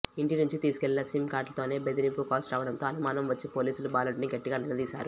ఇంటి నుంచి తీసుకెళ్లిన సిమ్ కార్డుతోనే బెదిరింపు కాల్స్ రావడంతో అనుమానం వచ్చి పోలీసులు బాలుడిని గట్టిగా నిలదీశారు